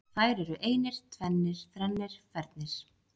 Þær eru einir, tvennir, þrennir, fernir.